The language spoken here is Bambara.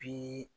Bi